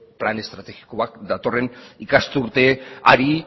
plan estrategikoa datorren ikasturteari